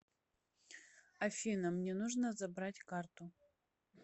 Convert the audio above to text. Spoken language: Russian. афина мне нужно забрать карту